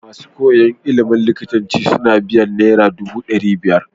Masu koyan ilimin likitanci suna biyan naira dubu dari biyar